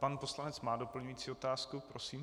Pan poslanec má doplňující otázku, prosím.